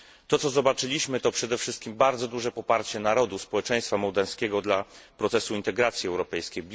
To, co zobaczyliśmy, to przede wszystkim bardzo duże poparcie narodu, społeczeństwa mołdawskiego dla procesu integracji europejskiej.